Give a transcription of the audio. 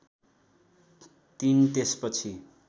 ३ त्यसपछि